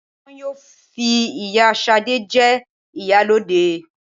Wọ́n yóò fi ìyá Ṣadé jẹ ìyálóde